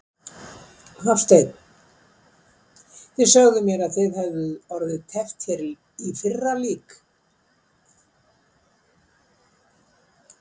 Hafsteinn: Þið sögðuð mér að þið hefðuð orðið teppt hér í fyrra lík?